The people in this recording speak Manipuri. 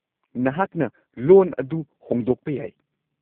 ꯅꯍꯥꯛꯅ ꯂꯣꯟ ꯑꯗꯨ ꯍꯣꯡꯗꯣꯛꯄ ꯌꯥꯏ꯫